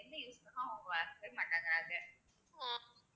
எந்த use க்கும் அவுங்க வ~ மாட்டேங்கறாங்க